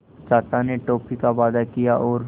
चाचा ने टॉफ़ी का वादा किया और